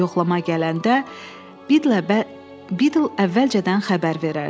Yoxlama gələndə Biddle əvvəlcədən xəbər verərdi.